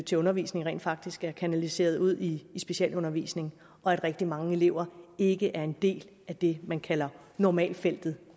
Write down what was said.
til undervisning rent faktisk er kanaliseret ud til specialundervisning og at rigtig mange elever ikke er en del af det man kalder normaltfeltet